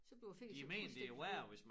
Så bliver æ finger så pludseligt hvid